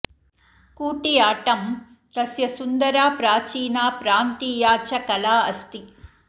कूटियाट्टं तस्य सुन्दरा प्राचीना प्रान्तीया च कला अस्ति